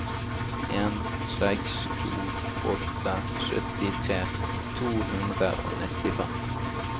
en seks to åtte syttitre to hundre og nittifem